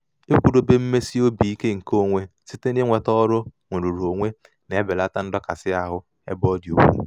ịkwụdobe mmesi obi ike nke onwe site n'inweta n'ọrụ nrụrụonwe na-ebelata ndọkasị ahụ ebe ọ dị ukwu.